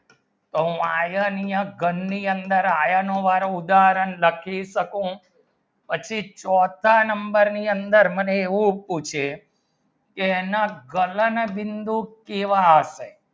તો iron ની ઘણ ની અંદર iron નું વાળું ઉદાહરણ લખી શકું પછી ચોથા number ની અંદર મને હું પૂછે કી એના ગગન બિંદુ કેહવા આશે